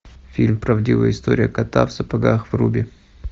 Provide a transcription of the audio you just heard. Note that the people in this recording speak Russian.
фильм правдивая история кота в сапогах вруби